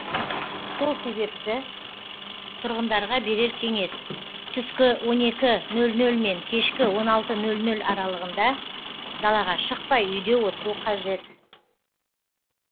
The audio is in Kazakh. сол себепті тұрғындарға берер кеңес түскі он екі нөл нөл мен кешкі он алты нөл нөл аралығында далаға шықпай үйде отыру қажет